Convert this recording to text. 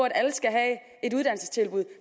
at alle skal have et uddannelsestilbud